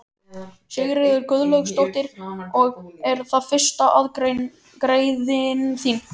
Sigríður Guðlaugsdóttir: Og er það fyrsta aðgerðin þín?